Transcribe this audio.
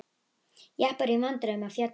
Jeppar í vandræðum á fjöllum